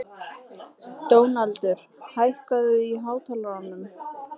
Dónaldur, hækkaðu í hátalaranum.